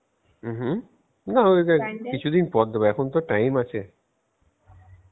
উ হম না কিছু দিন পর দেব এখন তো time আছে